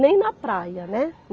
Nem na praia, né?